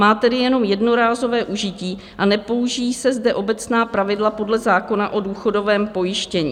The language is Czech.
Má tedy jenom jednorázové užití a nepoužijí se zde obecná pravidla podle zákona o důchodovém pojištění.